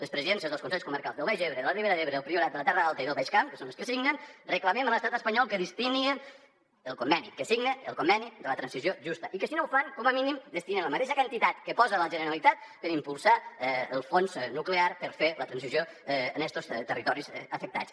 les presidències dels consells comarcals del baix ebre de la ribera d’ebre del priorat de la terra alta i del baix camp que són els que ho signen reclamem a l’estat espanyol que signi el conveni de la transició justa i que si no ho fa com a mínim destini la mateixa quantitat que hi posa la generalitat per impulsar el fons nuclear per fer la transició en estos territoris afectats